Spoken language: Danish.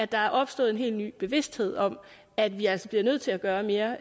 der er opstået en helt ny bevidsthed om at vi altså bliver nødt til at gøre mere